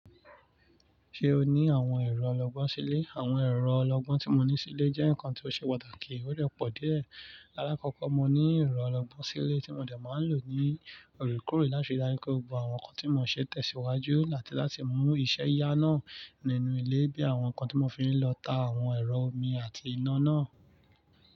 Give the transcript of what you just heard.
Ṣe o ni awọn ẹrọ ọlọgbọn sile? Awọn ẹrọ ọlọgbọn ti mo ni sile jẹ nkan ti o ṣe pataki, o de pọ déẹ̀. Lakọkọ, mo ni ẹrọ ọlọgbọn sile ti mo dẹ má n lo ni orí kòrí lati darí ko gbogbo awọn nkan ti mo n ṣe tẹsiwaju lati mu iṣẹ iya naa ninu ile bii awọn nkan ti mo fi n lọ ta awọn ẹrọ omi ati iná naa.